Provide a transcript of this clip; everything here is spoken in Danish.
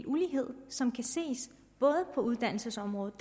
ulighed som kan ses både på uddannelsesområdet